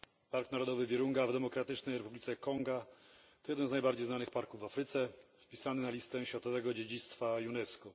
Park Narodowy Wirunga w Demokratycznej Republice Konga to jeden z najbardziej znanych parków w Afryce, wpisany na Listę Światowego Dziedzictwa Unesco.